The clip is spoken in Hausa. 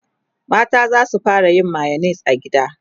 mata zasu fara yin mayonnaise a gida